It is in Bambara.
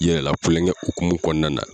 Yɛrɛ lakulonkɛ hukumu kɔnɔna na.